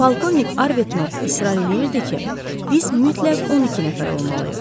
Polkovnik Arbuthnot israr eləyirdi ki, biz mütləq 12 nəfər olmalıyıq.